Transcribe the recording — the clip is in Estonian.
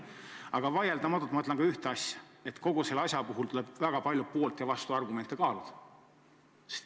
Aga vaieldamatult tuleb kogu selle asja puhul väga palju poolt- ja vastuargumente kaaluda.